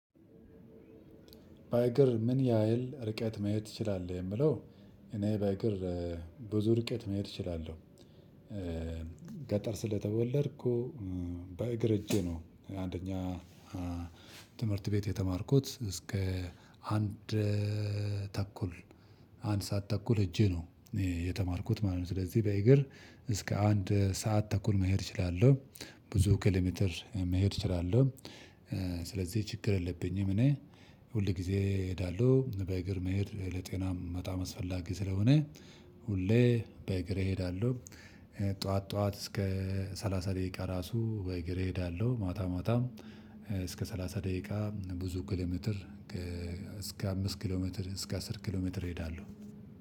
በእግር ምን ያህል ርቀት መሄድ ትችላለህ? የምለው እኔ በእግር ብዙ ርቀት መሄድ እችላለሁ። ገጠር ስለተወለድኩ በእግር ሄጄ ነው። አንደኛ ትምህርት ቤት የተማርኩት እስከ አንድ ተኩል አንድ ሰዓት ተኩል ሄጄ ነው። የተማርኩት ማለት ነው። ስለዚህ በእግር እስከ አንድ ሰዓት ተኩል መሄድ እችላለሁ ብዙ ኪሎ ሜትር መሄድ እችላለሁ። ስለዚህ ችግር የለብኝም። እኔ ሁል ጊዜ እሄዳለሁ በእግር መሄድ ለጤናም በጣም አስፈላጊ ስለሆነ ሁሌ በእግር እሄዳለሁ። ጠዋት ጠዋት እስከ ሰላሳ ደቂቃ ራሱ በእግር እሄዳለሁ። ማታ እስከ ሰላሳ ደቂቃ ብዙ ኪሎ ሜትር ከ እስከ አምስት ኪሎ ሜትር እስከ አስር ኪሎ ሜትር እሄዳለሁ።